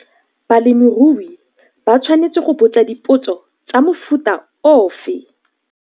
Balemirui ba tshwanetse go botsa dipotso tsa mofuta ofe?